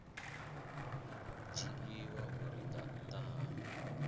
dzhiiwa uri nga nnḓa ha